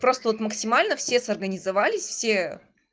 просто вот максимально все организовались все